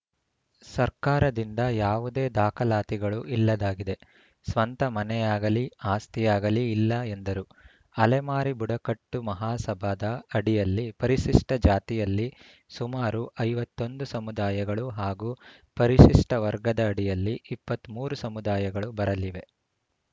ಸರ್ಕಾರದಿಂದ ಯಾವುದೇ ದಾಖಲಾತಿಗಳು ಇಲ್ಲದಾಗಿದೆ ಸ್ವಂತ ಮನೆಯಾಗಲಿ ಆಸ್ತಿಯಾಗಲಿ ಇಲ್ಲ ಎಂದರು ಅಲೆಮಾರಿ ಬುಡಕಟ್ಟು ಮಹಾಸಭಾದ ಅಡಿಯಲ್ಲಿ ಪರಿಶಿಷ್ಟಜಾತಿಯಲ್ಲಿ ಸುಮಾರು ಐವತ್ತ್ ಒಂದು ಸಮುದಾಯಗಳು ಹಾಗೂ ಪರಿಶಿಷ್ಟವರ್ಗದ ಅಡಿಯಲ್ಲಿ ಇಪ್ಪತ್ತ್ ಮೂರು ಸಮುದಾಯಗಳು ಬರಲಿವೆ